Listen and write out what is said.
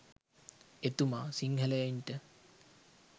එතුමා සිංහලයින්ට